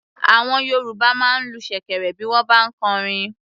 Àwọn Yorùbá máa ń lu ṣèkẹ̀rẹ̀ bí wọ́n bá ń kọrin.